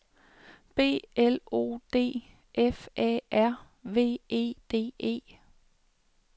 B L O D F A R V E D E